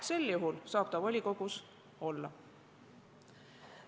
Sel juhul saab ta volikogus olla.